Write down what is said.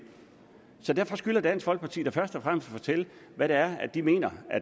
derfor skylder dansk folkeparti da først og fremmest at fortælle hvad det er de mener